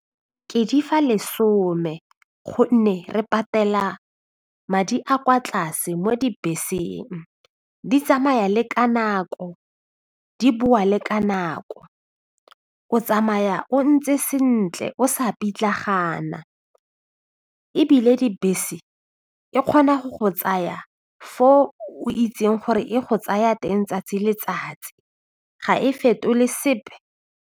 Ke di fa lesome gonne re patela madi a kwa tlase mo dibeseng, di tsamaya le ka nako di boa le ka nako o tsamaya o ntse sentle o sa pitlagana ebile dibese e kgona go go tsaya fo o itseng gore e go tsaya teng tsatsi le letsatsi ga e fetole sepe.